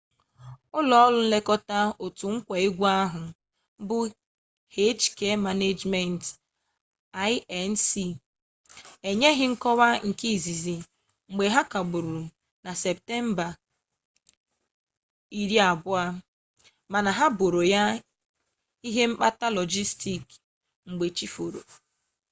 ụlọ ọrụ nlekọta otu nkwa egwu ahụ bụ hk management inc enyeghị nkọwa nke izizi mgbe ha kagburu na septemba 20 mana ha boro ya ihe mkpata lọjistik mgbe chi foro